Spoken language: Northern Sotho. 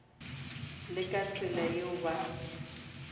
le ka tsela yeo ba